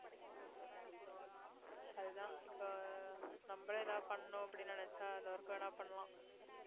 அதுதான் இப்போ நம்மளே ஏதாவது பண்ணணும் அப்படின்னு நினைச்சா அந்த work வேணா பண்ணலாம்